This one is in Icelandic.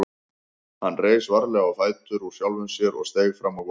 Hann reis varlega á fætur úr sjálfum sér og steig fram á gólfið.